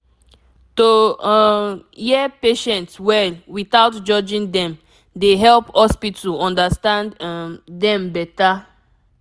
to um hear patient well without judging dem dey help hospital understand um dem better